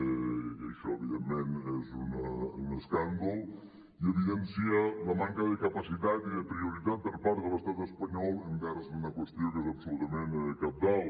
i això evidentment és un escàndol i evidencia la manca de capacitat i de prioritat per part de l’estat espanyol envers d’una qüestió que és absolutament cabdal